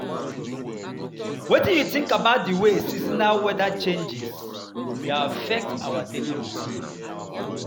Wetin you think about di way seasonal wheather changes dey affect our daily routines?